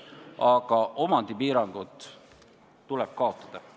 Aga omandipiirangud tuleb kaotada.